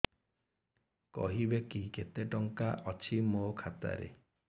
କହିବେକି କେତେ ଟଙ୍କା ଅଛି ମୋ ଖାତା ରେ